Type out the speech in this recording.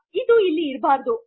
ಇದು ಇಲ್ಲಿ ಇರಬಾರದು